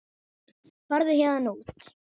Farðu héðan út.